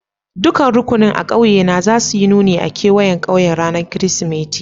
Dukan rukunin a ƙauye na za su yi nuni a'kawayen ƙauyen ranan Kiristimeti.